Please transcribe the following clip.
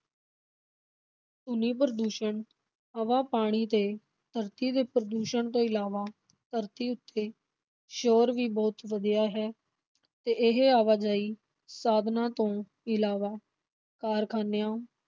ਧੁਨੀ-ਪ੍ਰਦੂਸ਼ਣ, ਹਵਾ, ਪਾਣੀ ਤੇ ਧਰਤੀ ਦੇ ਪ੍ਰਦੂਸ਼ਣ ਤੋਂ ਇਲਾਵਾ ਧਰਤੀ ਉੱਤੇ ਸ਼ੋਰ ਵੀ ਬਹੁਤ ਵਧਿਆ ਹੈ ਤੇ ਇਹ ਆਵਾਜਾਈ ਸਾਧਨਾਂ ਤੋਂ ਇਲਾਵਾ ਕਾਰਖ਼ਾਨਿਆਂ,